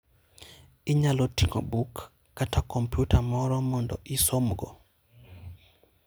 Inyalo ting'o buk kata kompyuta moro mondo isomgo.